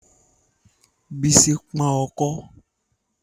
Bísí pọ́n ọkọ́